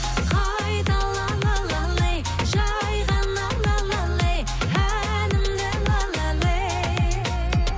қайтала жайғаным әнімді